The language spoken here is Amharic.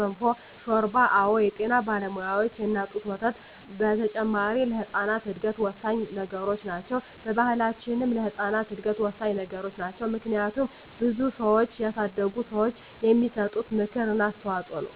ገንፎ፣ ሾርባ አወ የጤና ባለሙያዋች የእናት ጡት ወተት በተጨማሪ ለህጻናት እድገት ወሳኚ ነገሮች ናቸው። በባሕላችንም ለህጻናት እድገት ወሳኚ ነገሮች ናቸው። ምክንያቱም ብዙ ልጆችን ያሳደጉ ሰዋች የሚሰጡት ምክር እና አስተዋጾ ነው።